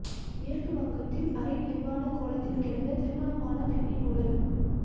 மேற்கு வங்கத்தில் அரை நிர்வாண கோலத்தில் கிடந்த திருமணமான பெண்ணின் உடல்